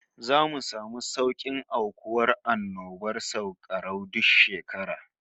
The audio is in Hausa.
Zamu samu saukin aukuwar annobar sankarau duk shekara